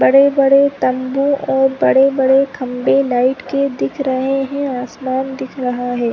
बड़े-बड़े तम्बू और बड़े-बड़े खम्भे लाइट के दिख रहे है आसमान दिख रहा है।